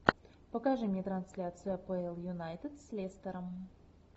покажи мне трансляцию апл юнайтед с лестером